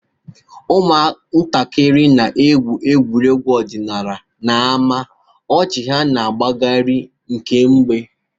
Ụmụntakịrị na-egwu egwuregwu ọdịnala n'ámá, ọchị ha na-agbagharị kemgbe.